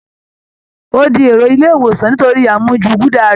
Ó di èrò ilé ìwòsàn nítorí àmujù gúda rẹ